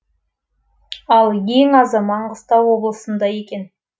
ал ең азы маңғыстау облысында екен